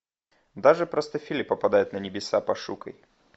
даже простофили попадают на небеса пошукай